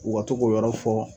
U ka to k'u yɔrɔ fɔ